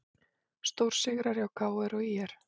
Stórsigrar hjá KR og ÍR